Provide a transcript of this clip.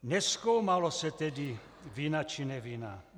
Nezkoumalo se tedy vina, či nevina.